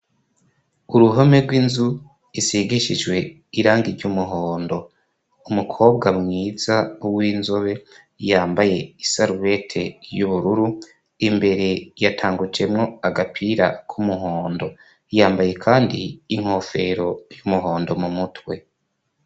uruhome rw'inzu isigishijwe irangi ry'umuhondo. Umukobwa mwiza w'inzobe yambaye isarubete y'ubururu, imbere yatangucemwo agapira k'umuhondo. Yambaye kandi inkofero y'umuhondo mu mutwe.